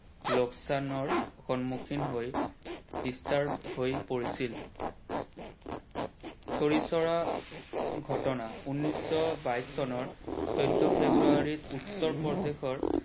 লোকচানৰ সন্মুখীন হৈ disturb হৈ পৰিছিল। চৰি চৰা ঘটনা নৈশ বাইশ চনৰ চৈধ্য ফেব্ৰুৱাৰীত উত্তৰ প্ৰদেশৰ